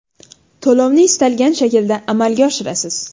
To‘lovni istalgan shaklda amalga oshirasiz.